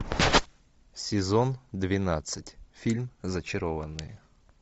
сезон двенадцать фильм зачарованные